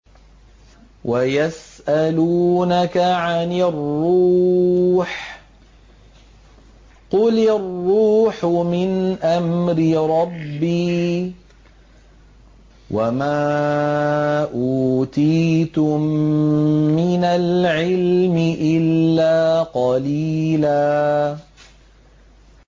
وَيَسْأَلُونَكَ عَنِ الرُّوحِ ۖ قُلِ الرُّوحُ مِنْ أَمْرِ رَبِّي وَمَا أُوتِيتُم مِّنَ الْعِلْمِ إِلَّا قَلِيلًا